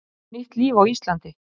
Hefja nýtt líf á Íslandi